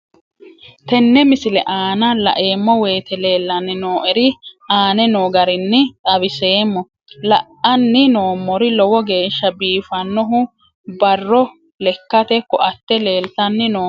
Tenne misile aana laeemmo woyte leelanni noo'ere aane noo garinni xawiseemmo. La'anni noomorri lowo geeshsa biifanohu barro lekate koatte leelitanni nooe.